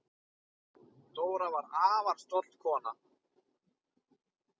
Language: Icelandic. Dóra var afar stolt kona.